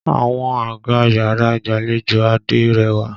Àwọn àga yàrá ìgbàlejò Adé rẹwà.